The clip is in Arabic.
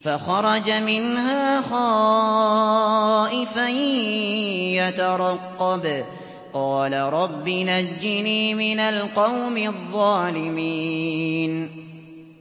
فَخَرَجَ مِنْهَا خَائِفًا يَتَرَقَّبُ ۖ قَالَ رَبِّ نَجِّنِي مِنَ الْقَوْمِ الظَّالِمِينَ